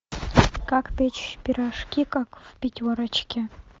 как печь пирожки как в пятерочке